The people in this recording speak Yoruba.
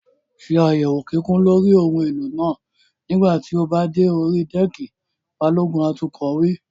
Ṣé àyẹ̀wò kíkún lórí ohun èlò náà nígbà tí o bá dé orí dẹ́ẹ̀kì! Balógun atukọ̀ wí.